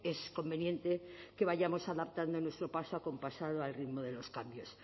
es conveniente que vayamos adaptando nuestro paso acompasado al ritmo de los cambios